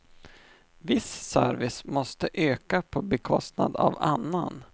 Viss service måste öka på bekostnad av annan.